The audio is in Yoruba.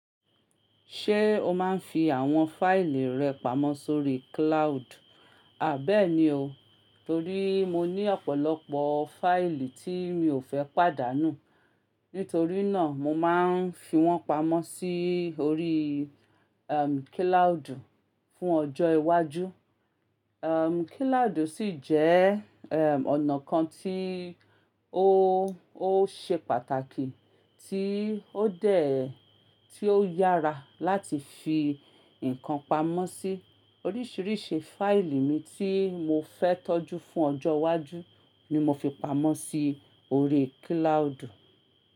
Ṣé o máa ń fi àwọn fáìlì rẹ pamọ́ sórí cloud? Àbẹ́èni o, torí mo ní ọ̀pọ̀lọpọ̀ fáìlì tí mi ò fẹ́ pàdánù. Nítorí náà mo máa ń fi wọ́n pamọ́ sí orí, ehm, kiloudu fún ọjọ́ iwájú. Ehm, kiloudo sì jẹ́, eh, ọ̀nà kan tí ó, ó ṣe pàtàkì tí ó dè ẹ́ tí ó yára láti fi nǹkan pamọ́ sí. Oríṣìíríṣìí fáìlì mi tí mo fẹ́ tọ́jú fún ọjọ́ wájú ni mo fi pamọ́ sí orí kiloudu.